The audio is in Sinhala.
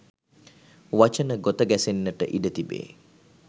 වචන ගොත ගැසෙන්නට ඉඩතිබේ